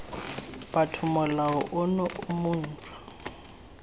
botho molao ono o montshwa